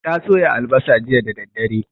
Ta soya albasa jiya da daddare